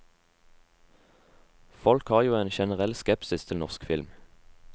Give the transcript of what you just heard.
Folk har jo en generell skepsis til norsk film.